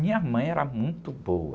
Minha mãe era muito boa.